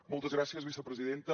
moltes gràcies vicepresidenta